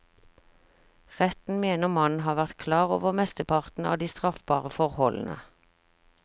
Retten mener mannen har vært klar over mesteparten av de straffbare forholdene.